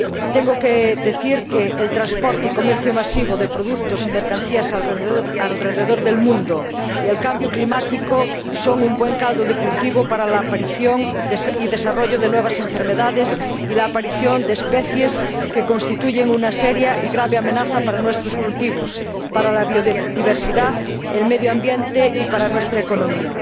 Tengo que decir que el transporte y el comercio masivo de productos y mercancías alrededor del mundo y el cambio climático son un buen caldo de cultivo para la aparición y desarrollo de nuevas enfermedades y la aparición de especies que constituyen una seria y grave amenaza para nuestros cultivos, para la biodiversidad, para el medio ambiente y para nuestra economía.